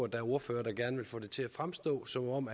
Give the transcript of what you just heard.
der er ordførere der gerne vil få det til at fremstå som om